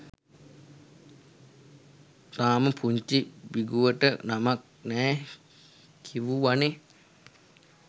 තාම පුංචි බිඟුවට නමක් නෑ කිවුවනේ